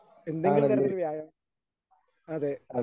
എന്തെങ്കിലും തരത്തിൽ വ്യായാമം അതെ